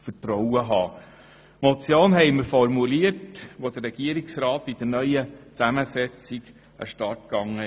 Wir haben diese Motion formuliert, als der Regierungsrat in der neuen Zusammensetzung an den Start ging.